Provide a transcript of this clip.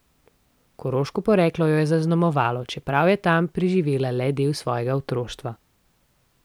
Koroško poreklo jo je zaznamovalo, čeprav je tam preživela le del svojega otroštva.